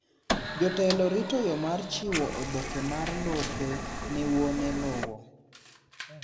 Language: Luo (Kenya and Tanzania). Jotelo rito yo mar chiwo oboke ma lope ne wuone lowo